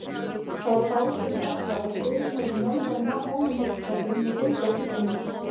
Það var þá sem sagt var að Friðrik hefði mölvað mahóníhornskápinn með finnska kristalnum.